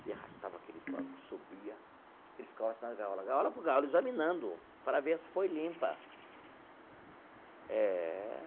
Ele arrastava aquele banco, subia, ele ficava assim na gaiola, gaiola por gaiola, examinando, para ver se foi limpa eh.